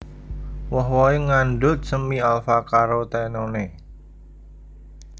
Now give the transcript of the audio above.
Woh wohé ngandhut semi alfa carotenone